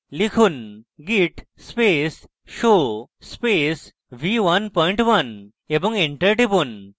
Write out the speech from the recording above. লিখুন: git space show space v11 এবং enter টিপুন